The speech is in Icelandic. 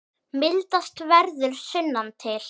Mildast verður sunnan til.